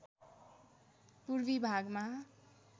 पूर्वी भागमा